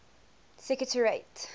secretariat